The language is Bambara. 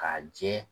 K'a jɛ